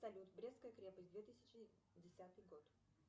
салют брестская крепость две тысячи десятый год